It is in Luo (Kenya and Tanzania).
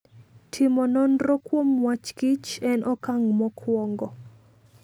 Timo nonro kuom wachKich en okang' mokwongo.